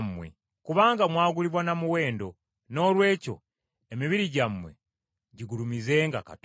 Kubanga mwagulibwa na muwendo, noolwekyo emibiri gyammwe gigulumizenga Katonda.